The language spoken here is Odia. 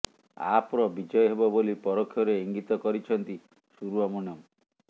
ଆପର ବିଜୟ ହେବ ବୋଲି ପରୋକ୍ଷରେ ଇଙ୍ଗିତ କରିଛନ୍ତି ସୁବ୍ରମଣ୍ୟମ